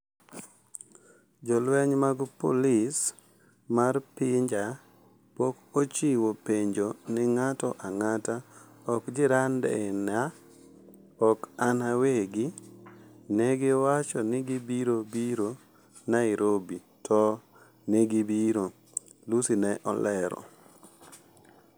jolweny mag polis mar pinja pok ochiwo penjo ni ng'ato ang'ata , ok jirande na , ok an awegi, ne gi wacho ni gibiro biro Nairobi tok negibiro" Lussi ne olero